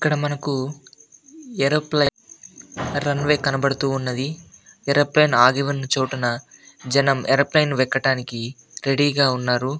ఇక్కడ మనకు aeroplane runway కనపడుతూ ఉన్నది ఏరోప్లేయిన్ ఆగి ఉన్న చోటున జనం ఏరోప్లేయిన్ ఎక్కటానికి రెడీ గా ఉన్నారు.